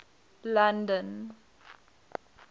london